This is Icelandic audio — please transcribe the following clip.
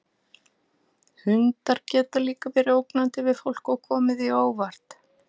Hundar geta líka verið ógnandi við fólk og komið því á óvart.